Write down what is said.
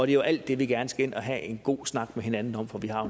jo alt det vi gerne skal ind og have en god snak med hinanden om for vi har